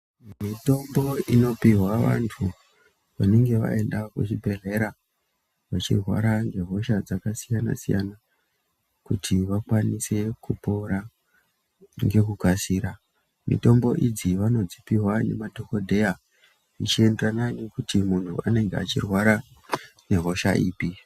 Mitombo inopihwa vantu vanenge vaenda kuchibhedhlera, vachirwara ngehosha dzakasiyana-siyana, kuti vakwanise kupora ngekukasira. Mitombo idzi vanodzipihwa ngemadhokodheya, zvichienderana nekuti munhu anenge achirwara nehosha ipi.